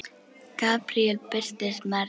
Gabríel birtist Maríu